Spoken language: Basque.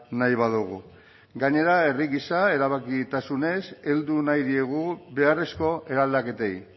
nahi badugu gainera herri gisa erabakitasunez heldu nahi diegu beharrezko eraldaketei